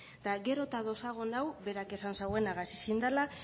eta gero eta adosago nago berak esan zauenagaz ezin dela